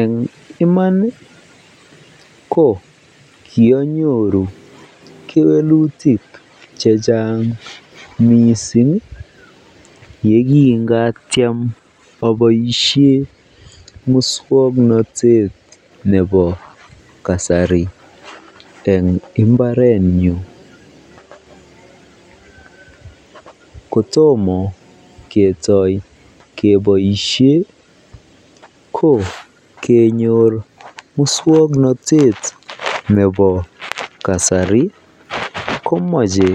Eng iman ko kionyoru kewelutik chechang mising yekingatiem oboishen muswoknotet nebo kasari en imbarenyun kotomo ketoi keboishen ko kenyor muswoknotet nebo kasari komoche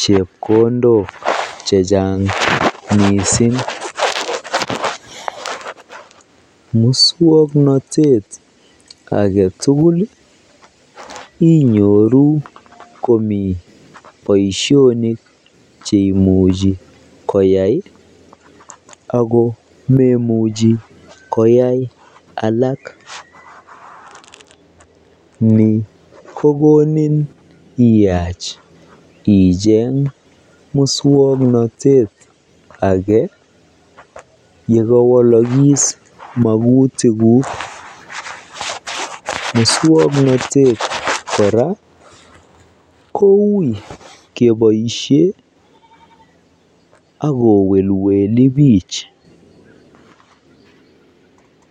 chepkondok chechang mising, muswoknotet aketukul inyoru komii boishonik cheimuchi koyai ak ko meimuchi koyai alak, nii kokonin iyach icheg muswoknotet akee yekowolokis mokutikuk, musknotet kora koui keboishen ak kowelweli biik.